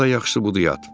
Onda yaxşısı budur yat.